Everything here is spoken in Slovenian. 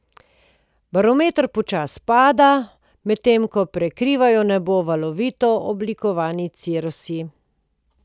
Barometer počasi pada, medtem ko prekrivajo nebo valovito oblikovani cirusi.